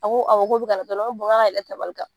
A ko awɔ k'o bɛ ka na dɔrɔn, n ko k'a ka yɛlɛ tabali kan